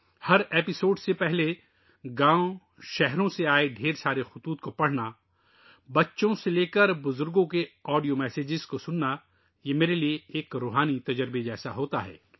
ہر episode سے پہلے گاؤں اور شہروں کے خطوط پڑھنا ؛ بچوں سے لے کر بڑوں تک آڈیو پیغامات سننا؛ یہ میرے لئے ایک روحانی تجربے جیسا ہے